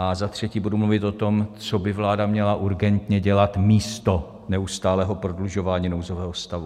A za třetí budu mluvit o tom, co by vláda měla urgentně dělat místo neustálého prodlužování nouzového stavu.